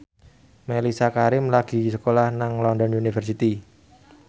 Mellisa Karim lagi sekolah nang London University